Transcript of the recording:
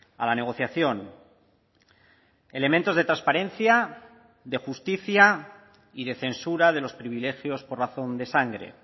a la negociación elementos de transparencia de justicia y de censura de los privilegios por razón de sangre